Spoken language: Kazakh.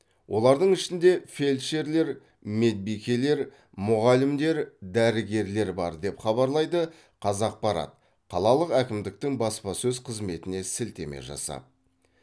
олардың ішінде фельдшерлер медбикелер мұғалімдер дәрігерлер бар деп хабарлайды қазақпарат қалалық әкімдіктің баспасөз қызметіне сілтеме жасап